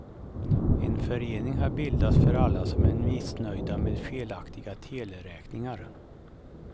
En förening har bildats för alla som är missnöjda med felaktiga teleräkningar.